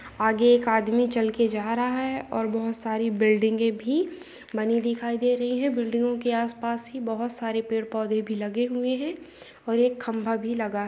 आगे एक आदमी चल के जा रहा है और बहुत सारी बिल्डिंगे भी बनी दिखाई दे रही है बिल्डिंगों के आसपास ही बहुत सारे पेड़-पौधे भी लगे हुए हैं और एक खंभा भी लगा है।